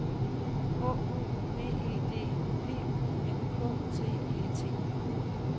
H O V E D P U N K T E T